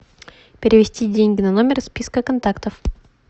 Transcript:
перевести деньги на номер из списка контактов